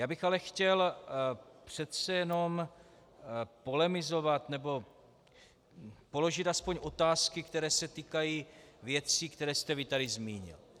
Já bych ale chtěl přece jenom polemizovat nebo položit aspoň otázky, které se týkají věcí, které jste vy tady zmínil.